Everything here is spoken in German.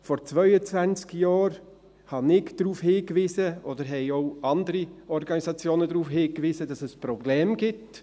Vor 22 Jahren wies ich darauf hingewiesen – oder es wiesen auch andere Organisationen darauf hin –, dass es Probleme gibt.